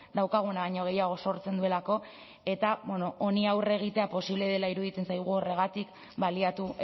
daukaguna baino gehiago sortzen duelako eta honi aurre egitea posible dela iruditzen zaigu horregatik baliatu